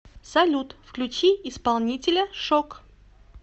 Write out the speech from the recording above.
салют включи исполнителя шок